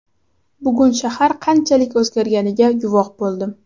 Bugun shahar qanchalik o‘zgarganiga guvoh bo‘ldim.